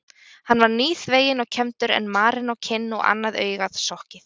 Hann var nýþveginn og kembdur en marinn á kinn og annað augað sokkið.